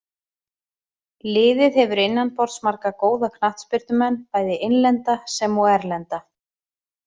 Liðið hefur innanborðs marga góða knattspyrnumenn, bæði innlenda sem og erlenda.